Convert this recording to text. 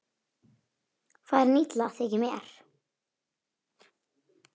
Farin illa þykir mér.